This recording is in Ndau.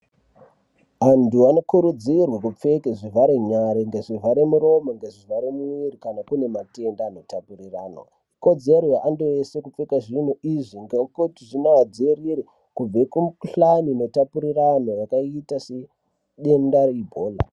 Antu anokurudzirwa kupfeka zvivhara nyare nezvivhare muromo nezvivhara mwiri kana une matenda anotapurirwana .Ikodzero yemuntu weshe kupfeka Izvi ngokuti zvinotidzivirira kubva kumikuhlani yakaita sedenda reIbhola .